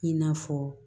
I n'a fɔ